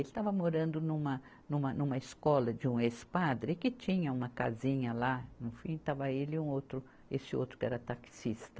Ele estava morando numa, numa, numa escola de um ex-padre que tinha uma casinha lá, no fim, estava ele e um outro, esse outro que era taxista.